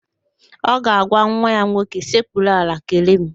Ọ ga-agwa nwa ya nwoke, sekpuru ala kelee mụ!